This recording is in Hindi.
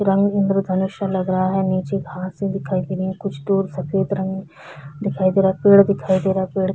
पुरानी इंद्रधनुष लग रहा है नीचे घाँसे दिखाई दे रही हैं कुछ पेड़ सफेद रंग दिखाई दे रहा हैं पेड़ दिखाई दे रहा हैं पेड़--